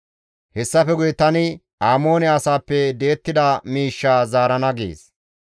«Hessafe guye tani Amoone asaappe di7ettida miishshaa zaarana» gees.